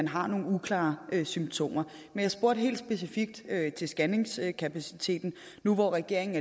har nogle uklare symptomer men jeg spurgte helt specifikt til scanningskapaciteten nu hvor regeringen